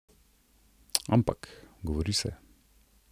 Ampak, govori se ...